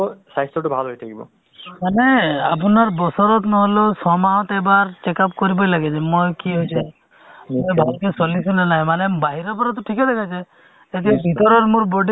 যিটো নব প্ৰজন্মৰ লোকসকল মানুহে কথাখিনি নুশুনে বা নামানে নহয় জানো actually চোৱা মাজে মাজে সময় বাৰু আশা হওক ANM সকল হওক তেওঁলোক গাৱে চহ মানে